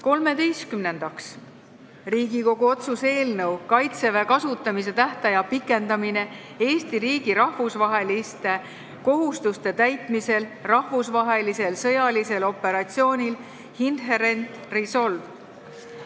Kolmeteistkümnendaks, Riigikogu otsuse "Kaitseväe kasutamise tähtaja pikendamine Eesti riigi rahvusvaheliste kohustuste täitmisel rahvusvahelisel sõjalisel operatsioonil Inherent Resolve" eelnõu.